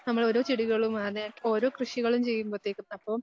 നമ്മൾ ഓരോ ചെടികളും ആനേ ഓരോ കൃഷികളും ചെയ്യുമ്പത്തേയ്ക്കും അപ്പം